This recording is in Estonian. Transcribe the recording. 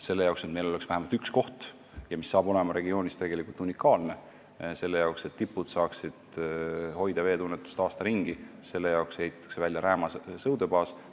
Selleks, et meil oleks vähemalt üks koht – sellest saab tegelikult unikaalne koht regioonis –, kus tipud saaksid aasta ringi veetunnetust hoida, ehitataksegi välja Rääma sõudebaas.